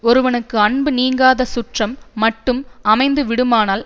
ஒருவனுக்கு அன்பு நீங்காத சுற்றம் மட்டும் அமைந்து விடுமானால்